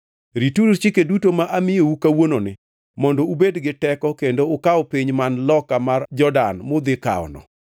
Rituru chike duto ma amiyou kawuononi mondo ubed gi teko kendo ukaw piny man loka mar Jordan mudhi kawono;